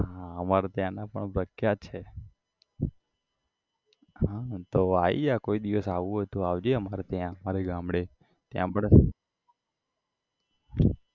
હા અમાર ત્યાં ના પણ પ્રખ્યાત છે હ તો આઈ જા કોઈ દિવસ આવું હોય તો આવજે અમાર ત્યાં અમારા ગામડે ત્યાં પણ